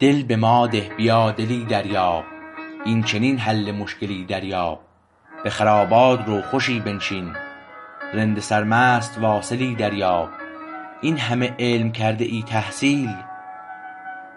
دل به ما ده بیا دلی دریاب این چنین حل مشکلی دریاب به خرابات رو خوشی بنشین رند سرمست واصلی دریاب این همه علم کرده ای تحصیل